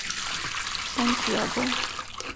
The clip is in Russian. сантьяго